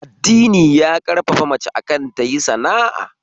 Addini ya ƙarfafi mace akan tayi sana'a